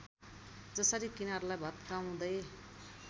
जसरी किनारलाई भत्काउँदै